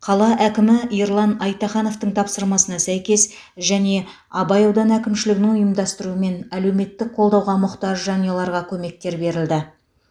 қала әкімі ерлан айтахановтың тапсырмасына сәйкес және абай ауданы әкімшілігінің ұйымдастыруымен әлеуметтік қолдауға мұқтаж жанұяларға көмектер берілді